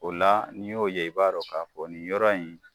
O la n'i y'o ye i b'a dɔn k'a fɔ nin yɔrɔ in